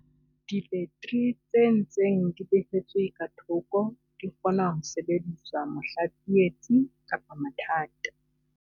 Dibeteri tse ntseng di behetswe ka thoko di kgona ho sebediswa mohla tsietsi kapa mathata.